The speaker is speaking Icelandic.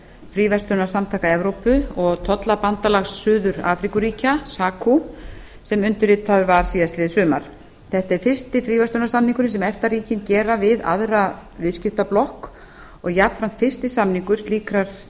fríverslunarsamtaka evrópu og tollabandalags suður afríkuríkja sacu sem undirritaður var síðastliðið sumar þetta er fyrsti fríverslunarsamningurinn sem efta ríkin gera við aðra viðskiptablokk og jafnframt fyrsti samningur slíkrar